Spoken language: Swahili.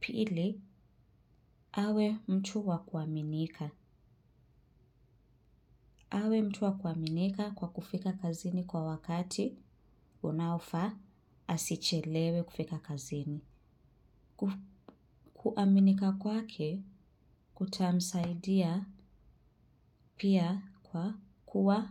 Pili, awe mtu wa kuaminika. Awe mtu wa kuaminika kwa kufika kazini kwa wakati unaofaa asichelewe kufika kazini. Kuaminika kwake kutamsaidia pia kwa kuwa